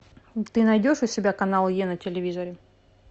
ты найдешь у себя канал е на телевизоре